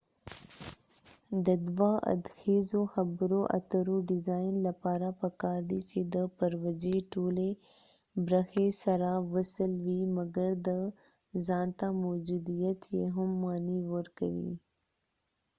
د دوه ادخیزو خبرو اترو ډیزاین لپاره پکار دي چې د پروژی ټولی برخی سره وصل وي مګر د ځانته موجوديت یې هم معنی ورکوي